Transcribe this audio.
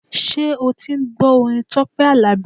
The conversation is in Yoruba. Ṣé o ti ń gbọ́ orin Tọ́pẹ́ Àlàbí?